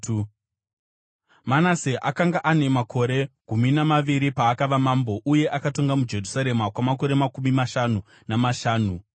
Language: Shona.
Manase akanga ane makore gumi namaviri paakava mambo, uye akatonga muJerusarema kwamakore makumi mashanu namashanu.